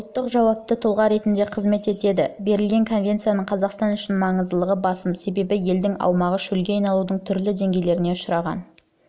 шеңберінде ұлттық жауапты тұлға ретінде қызмет етеді берілген конвенцияның қазақстан үшін маңызыдылығы басым себебі елдің аумағы шөлге айналудың түрлі деңгейлеріне ұшыраған